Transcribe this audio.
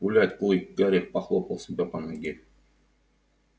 гулять клык гарри похлопал себя по ноге